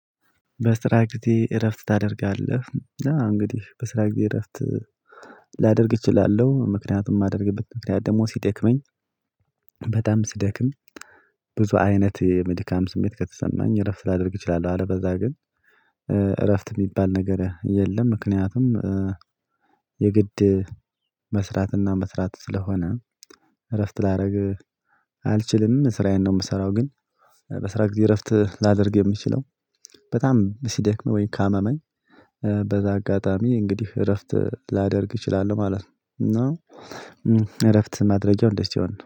በስራ ጊዜ እረፍት ታደርጋለህ? እንግዲህ በስራ ጊዜ እረፍት ላደርግ እችላለሁ ምክንያቱም የማደርግበት ምክንያት ደግሞ ሲደክመኝ በጣም ስደክም ብዙ አይነት መድካም ስሜት ከተሰማኝ እረፍት ላደርግ እችላለሁ አለበዛ ግን እረፍት የሚባል ነገር የለም ምክንያቱም የግድ መስራትና መስራት ስለሆነ እረፍት ላደርግ አልችልም ስራዬን ነው የምሰራው ግን በስራ ጊዜ እረፍት ላደርግ የምችለው በጣም ሲደክመኝ ወይን ካመመኝ በዛ አጋጣሚ እንግዲህ እረፍት ላደርግ እችላለሁ ማለት ነው እና እረፍት ማድረጊያው እንደዚህ ሲሆን ነው።